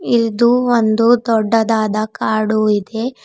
ಇದು ಒಂದು ದೊಡ್ಡದಾದ ಕಾಡು ಇದೆ.